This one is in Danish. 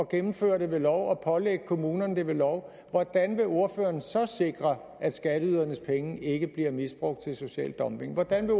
gennemføre det ved lov og pålægge kommunerne det ved lov hvordan vil ordføreren så sikre at skatteydernes penge ikke bliver misbrugt til social dumping hvordan vil